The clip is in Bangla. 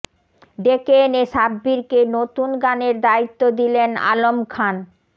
ডেকে এনে সাব্বিরকে নতুন গানের দায়িত্ব দিলেন আলম খান